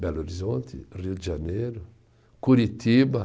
Belo Horizonte, Rio de Janeiro, Curitiba.